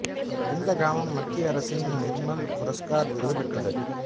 இந்த கிராமம் மத்திய அரசின் நிர்மல் புரஸ்கார் விருது பெற்றது